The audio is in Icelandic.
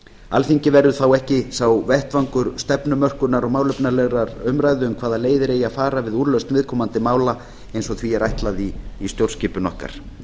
alþingi verður þá ekki sá vettvangur stefnumörkunar og málefnalegrar umræðu um hvaða leiðir eigi að fara við úrlausn viðkomandi mála eins og því er ætlað í stjórnskipun okkar